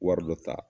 Wari dɔ ta